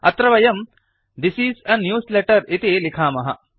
अत्र वयं this is a newsletter इति लिखामः